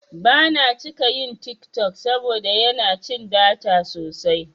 Bana cika yin TikTok saboda yana cin data sosai.